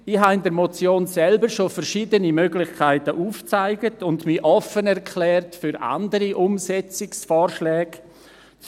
In der Motion selbst habe ich bereits verschiedene Möglichkeiten aufgezeigt und mich offen gegenüber anderen Umsetzungsvorschlägen erklärt.